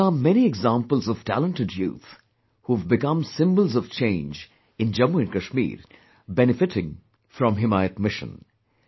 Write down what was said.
There are many examples of talented youth who have become symbols of change in Jammu and Kashmir, benefiting from 'Himayat Mission'